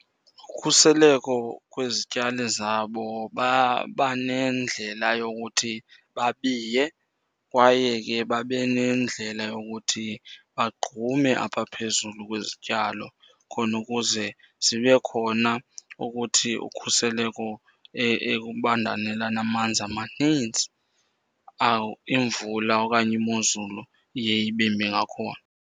Ukhuseleko kwezityali zabo baba nendlela yokuthi babiye kwaye ke babe nendlela yokuthi bangqume apha phezulu kwezityalo khona ukuze zibe khona ukuthi ukhuseleko ekubanda nelanamanzi amaninzi, imvula okanye imozulu iye ibe mbi ngakhona.